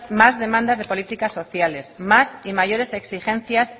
más demandas de políticas sociales más y mayores exigencias